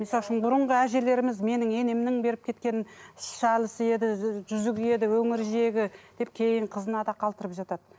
мысалы үшін бұрынғы әжелеріміз менің енемнің беріп кеткен еді жүзігі еді өңір жегі деп кейін қызына да қалдырып жатады